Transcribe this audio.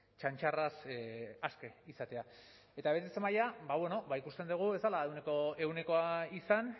txantxarraz aske izatea eta betetze maila ba bueno ba ikusten dugu ez zela ehuneko ehunekoa izan